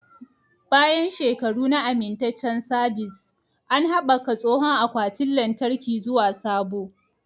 Bayan shekaru na amintaccen sabis, an haɓaka tsohon akwatin lantarki zuwa sabo.